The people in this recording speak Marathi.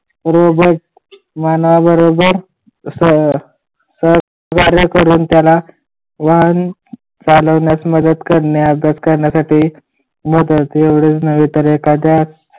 बरोबर मना बरोबर अं सतवारे करून त्याला वाहन चालवण्यात मदत करण्यासाठी मोटरचे वरीस नाही तर एखाद्या